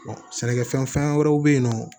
sɛnɛkɛfɛn wɛrɛw be yen nɔ